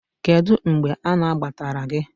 Kedu mgbe anagbatara gị?